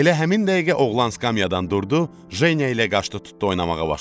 Elə həmin dəqiqə oğlan skamyadan durdu, Jenya ilə qaçdı tutdu oynamağa başladı.